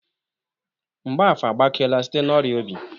Mgbafor agbakeela site n'ọrịa obi.